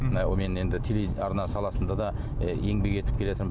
мынау мен енді телеарна саласында да і еңбек етіп келеатырмын